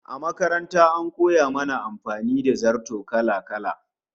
A makaranta an koya mana amfani da zarto kala-kala